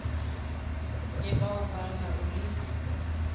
le bao ba nago le